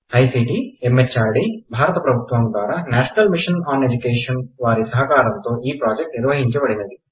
I C T M H R D బారత ప్రభుత్వము ద్వారా నేషనల్ మిషన్ ఆన్ ఎడ్యుకేషన్ వారి సహకారంతో ఈ ప్రాజెక్ట్ నిర్వహించపడినది